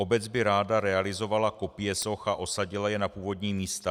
Obec by ráda realizovala kopie soch a osadila je na původní místa.